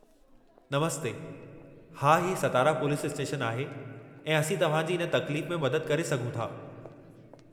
नमस्ते, हा, ही Satara police station आहे ऐं असीं तव्हां जी इन तक़लीफ़ में मदद करे सघूं था।